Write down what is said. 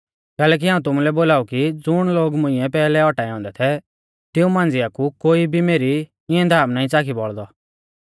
कैलैकि हाऊं तुमुलै बोलाऊ कि ज़ुण लोग मुंइऐ पैहलै औटाऐ औन्दै थै तिऊं मांझ़िया कु कोई भी मेरी इंऐ धाम नाईं च़ाखी बौल़दौ